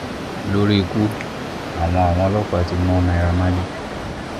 lórí ikú àwọn àwọn ọlọ́pàá ti mú naira marley